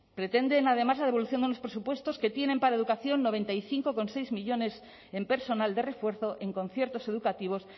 pretenden además la devolución de unos presupuestos que tienen para educación noventa y cinco coma seis millónes en personal de refuerzo en conciertos educativos